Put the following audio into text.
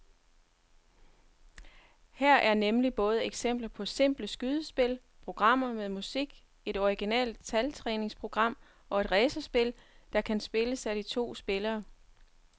Her er nemlig både eksempler på simple skydespil, programmer med musik, et originalt taltræningsprogram og et racerspil, der kan spilles af to spillere.